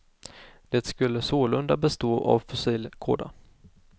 Det skulle sålunda bestå av fossil kåda.